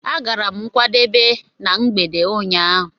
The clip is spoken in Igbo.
Agara m nkwadebe na mgbede ụnyaahụ.